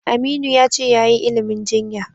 Aminu ya ce yayi ilimin jinya.